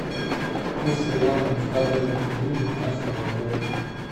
курс реала на второе июля двенадцатого года